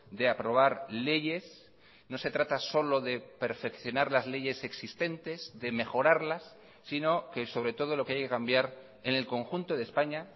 de aprobar leyes no se trata solo de perfeccionar las leyes existentes de mejorarlas sino que sobre todo lo que hay que cambiar en el conjunto de españa